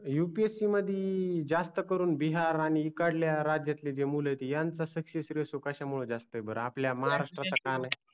upsc मधी जास्त करून बिहार आणि इकडल्या राज्यातले जे मूल आहे यांचे success ratio कश्या मुळे जास्त आहे बर आपल्या महाराष्ट्रचा का नाही